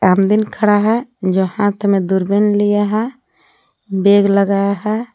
खड़ा हुआ है जो हाथ में दूरबीन लिया है बैग लगाया है।